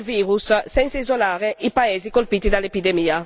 La solidarietà richiede un'azione incisiva da parte nostra.